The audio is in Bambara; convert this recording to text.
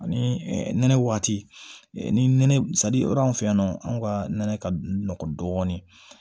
Ani nɛnɛ waati ni nɛnɛ anw ka nɛnɛ ka nɔgɔ dɔɔnin